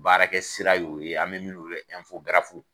Baarakɛ sira y'o ye an bɛ min weele ko